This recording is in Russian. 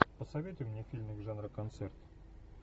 посоветуй мне фильмик жанра концерт